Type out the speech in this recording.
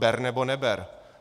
Ber nebo neber.